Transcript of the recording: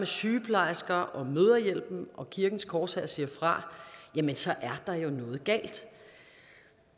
sygeplejerskerne og mødrehjælpen og kirkens korshær siger fra er der jo noget galt